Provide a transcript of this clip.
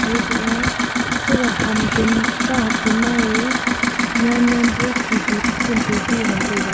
eto a Sega ham chen kahak chenma e nyannyan pu khikhi pu phun tupi e ngan taiga.